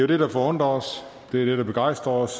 det der forundrer os det er det der begejstrer os